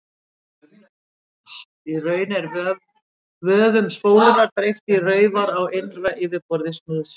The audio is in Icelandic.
Í raun er vöfum spólunnar dreift í raufar á innra yfirborði snúðsins.